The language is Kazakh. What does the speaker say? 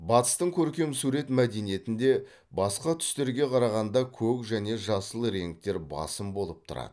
батыстың көркем сурет мәдениетінде басқа түстерге қарағанда көк және жасыл реңктер басым болып тұрады